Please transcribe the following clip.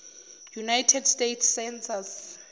united states census